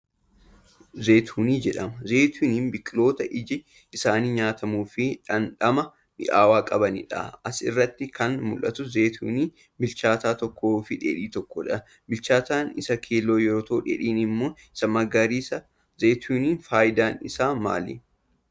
Zeetunii jedhama. Zeetuniin biqiltoota iji isaanii nyaatamuu fi dhandhama mi'aawaa qabanii dha. As irratti kan mul'atus zeetunii bilchaataa tokkoo fi dheedhii tokko dha. Bilchaataan isa keelloo yoo ta'u, dheedhiin ammoo isa magariisa. Zeetuniin faayidaan isaa maali?